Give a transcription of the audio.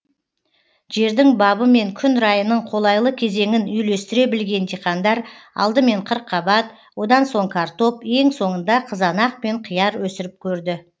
жердің бабы мен күн райының қолайлы кезеңін үйлестіре білген диқандар алдымен қырыққабат одан соң картоп ең соңында қызанақ пен қияр өсіріп көрді